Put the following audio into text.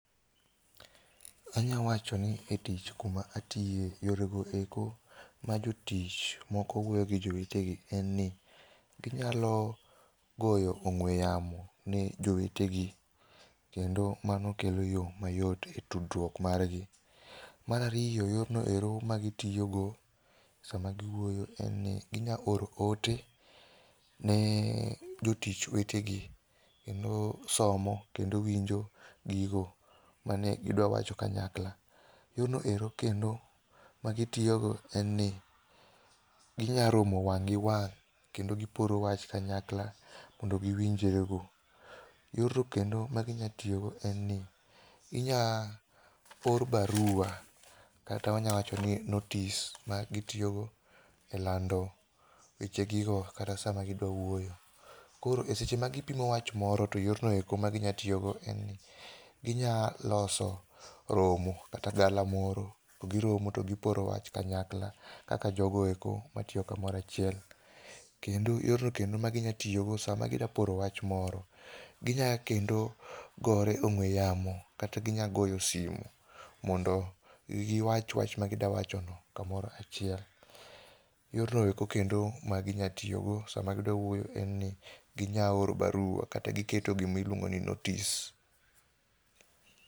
Anyawacho ni jotich kuma atiye, yorego eko ma jotich moko wuoyo gi jowetegi en ni ginyalo goyo ong'ue yamo ni jowetegi kendo mano kelo yo mayot e tudruok margi. Mar ariyo, yorno ero ma gitiyogo sama giwuoyo en ni ginyalo oro ote ni jotich wetegi kendo somo kendo winjo gigo mane gidwa wacho kanyakla. Yorno ero kendo magitiyogo en ni, ginya romo wang' gi wang' kendo giporo wach kanyakla mondo giwinjre go. Yorno kendo maginya tiyogo en ni ginya or barua kata wanyalo wachoni notice ma gitiyogo elando wechegigo kata sama gidwa wuoyo. Koro e seche ma gipimo wach moro to yorno eko ma ginya tiyogo en ginya loso romo kata galamoro to giromo to giporo wach kanyakla kaka jogo eko matiyo kamoro achiel. Kendo yorno kendo maginyalo tiyogo sama gidwa poro wach moro, ginya kendo gore ong'ue yamo kata ginya goyo simu mondo giwach wach magidwa wachono kamoro achiel. Yorno eko kendo maginya tiyogo sama gidwa wuoyo en ni ginya oro barua, kata giketo gimiluongo ni notice.